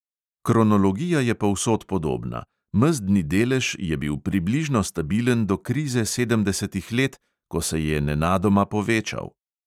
Kronologija je povsod podobna: mezdni delež je bil približno stabilen do krize sedemdesetih let, ko se je nenadoma povečal.